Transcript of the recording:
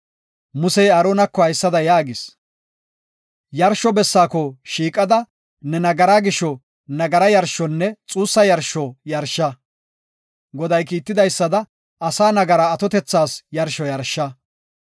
Musey Aaronako haysada yaagis; “Yarsho bessaako shiiqada ne nagaraa gisho nagara yarshonne xuussa yarsho yarsha. Goday kiitidaysada asaa nagaraa atotethas yarsho yarsha.”